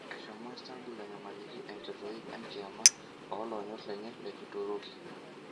Eshomo Istanbul anyamaliki enkotoi enkiyiama olonyorr lenye le Kituruki.